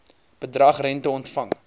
bedrag rente ontvang